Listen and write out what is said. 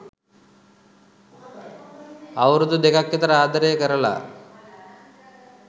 අවුරුදු දෙකක් විතර ආදරය කරලා